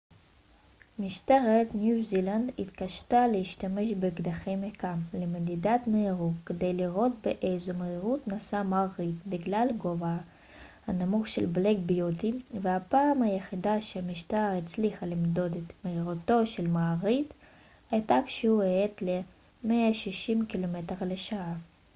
משטרת ניו זילנד התקשתה להשתמש באקדחי מכ ם למדידת מהירות כדי לראות באיזו מהירות נסע מר ריד בגלל גובהה הנמוך של בלאק ביוטי והפעם היחידה שהמשטרה הצליחה למדוד את מהירותו של מר ריד הייתה כשהוא האט ל-160 קמ ש